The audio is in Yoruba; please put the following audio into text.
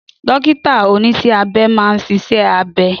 Dókítà oníṣẹ́ abẹ máa ń ṣiṣẹ́ abẹ